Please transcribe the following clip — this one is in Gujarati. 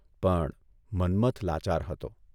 પણ મન્મથ લાચાર હતો.